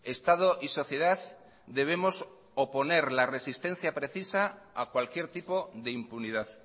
estado y sociedad debemos oponer la resistencia precisa a cualquier tipo de impunidad